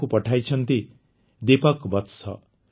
ଏହାକୁ ପଠାଇଛନ୍ତି ଦୀପକ ବତ୍ସ